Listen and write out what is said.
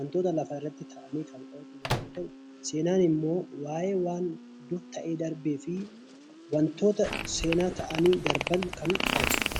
wantoota lafarratti ta'an kan qoratu yommuu ta'u, seenaan immoo waa'ee waanta ta'ee darbee fi wantoota seenaa ta'anii darban kan qoratudha.